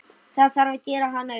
Það þarf gera hana upp.